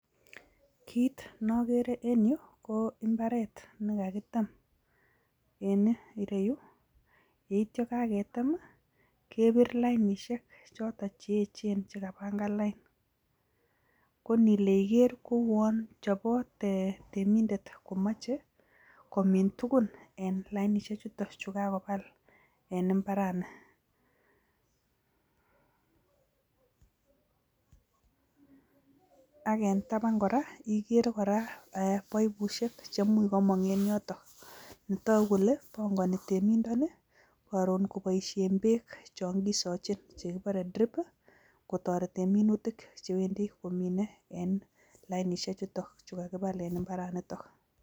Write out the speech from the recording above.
Kit neogere en yu ko imbaaret nekakiteem, en ireyu, yeityo kageteem I kebir lainisiek choton cheyeechen chekapangan lain. Koni lee igeer koun chobot reminder komoche komiin tuguuk en imbaar yuton yu kakoteem en imbaarani. Ak en tabaan kora kegeere paipusiek cheimuch komong en yoton. Netogu kele bongoni temindoni koroon koboishien beek chon kisochinn che kikuuren drip i,kotoreten tuguuk che wendii nominee en lainisiek chutoguu en imbaaranitok